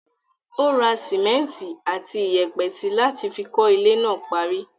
Ó ra simẹnti àti iyẹ̀pẹ̀ síi láti fi kọ́ ilé náà parí.